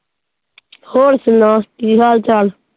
ਹੋਰ ਸੁਣਾ ਕੀ ਹਾਲ ਚਾਲ?